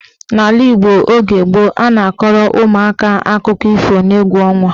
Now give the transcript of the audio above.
N'ala Igbo oge gboo, a na-akọrọ ụmụaka akụkọ ifo n'egwu ọnwa.